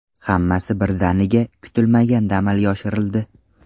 Hammasi birdaniga, kutilmaganda amalga oshirildi.